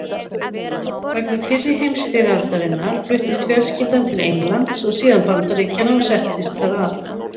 Vegna fyrri heimsstyrjaldarinnar fluttist fjölskyldan til Englands og síðan Bandaríkjanna og settist þar að.